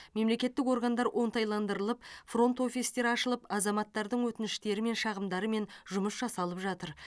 мемлекеттік органдар оңтайландырылып фронт офистер ашылып азаматтардың өтініштері мен шағымдарымен жұмыс жасалып жатыр